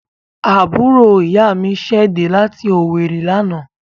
Àbúrò ìyá mi ṣẹ̀ dẹ́ láti Owerri lánàá.